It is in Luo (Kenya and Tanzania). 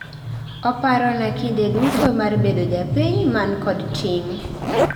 Oparona kinde tudo mar bedo japiny man kod ting'